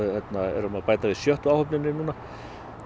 erum að bæta við sjöttu áhöfninni núna